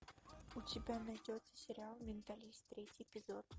у тебя найдется сериал менталист третий эпизод